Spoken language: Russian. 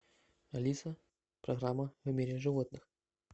алиса программа в мире животных